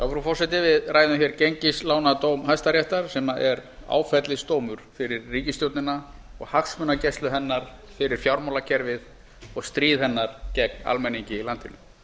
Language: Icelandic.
frú forseti við ræðum hér gengislánadóm hæstaréttar sem er áfellisdómur fyrir ríkisstjórnina og hagsmunagæslu hennar fyrir fjármálakerfið og stríð hennar gegn almenningi í landinu